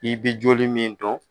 I bɛ joli min dɔn.